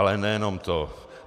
Ale nejenom to.